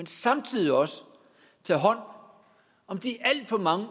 samtidig også tager hånd om de alt for mange